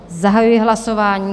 Zahajuji hlasování.